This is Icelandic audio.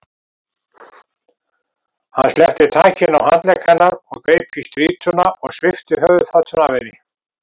Hann sleppti takinu á handlegg hennar, greip í strýtuna og svipti höfuðfatinu af henni.